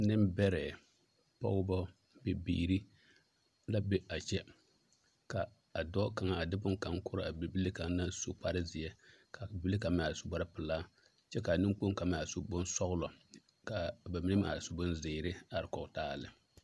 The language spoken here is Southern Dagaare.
Nembɛrɛ pɔgeba bibiiri la be a kyɛ ka a dɔɔ kaŋa a de bonne kaŋ korɔ a bibile kaŋ naŋ su kparezeɛ ka a bibile kaŋ meŋ su kparepelaa kyɛ ka a neŋkpoŋ kaŋ meŋ a su bonsɔglɔ ka a ba mine meŋ su bonzeere a are kɔge taa a lɛ.